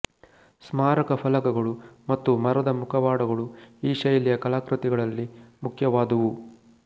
ಸ್ಮಾರಕಫಲಕಗಳು ಮತ್ತು ಮರದ ಮುಖವಾಡಗಳು ಈ ಶೈಲಿಯ ಕಲಾಕೃತಿಗಳಲ್ಲಿ ಮುಖ್ಯವಾದುವು